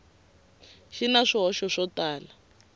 xi na swihoxo swo tala